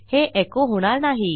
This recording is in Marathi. हे एको होणार नाही